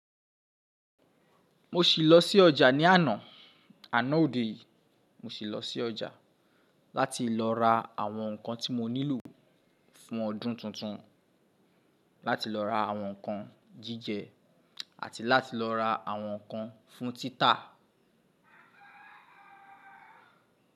Mo ṣì lọ sí ọjà ní àná, àná òde yìí mo ṣì lọ sí ọjà láti lọ ra àwọn nǹkan tí mo nílò fún ọdún tuntun, láti lọ ra àwọn nǹkan jíjẹ àti láti lọ ra àwọn nǹkan fún títà.